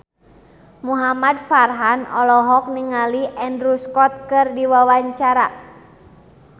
Muhamad Farhan olohok ningali Andrew Scott keur diwawancara